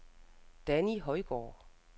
Danni Højgaard